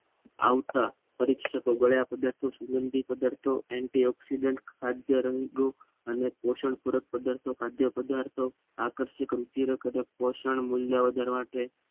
આવતા પરીક્ષકો ગળિયાં પદાર્થો સુગંધિત પદાર્થોને અને તે ઓક્સિજન ખાદ્ય રંગનો પોષણનું પૂર્વક પદાર્થો ખાદ્ય પદાર્થો આકર્ષિક રુચિ જબ પોષક મૂલ્ય વધારવા માટે